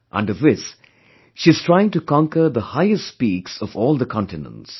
Under this she is trying to conquer the highest peaks of all the continents